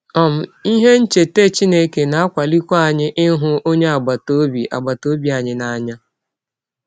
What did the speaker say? um Ihe ncheta Chineke na - akwalikwa anyị ịhụ ọnye agbata ọbi agbata ọbi anyị n’anya.